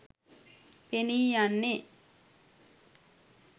පෙනී යන්නේ